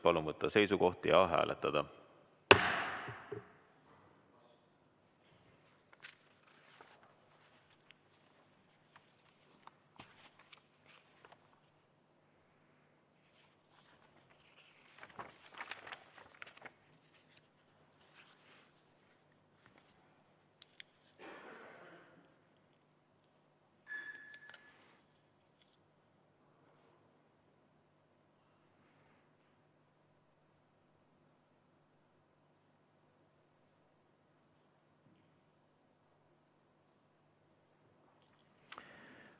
Palun võtta seisukoht ja hääletada!